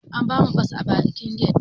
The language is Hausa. An bamu fas a bakin get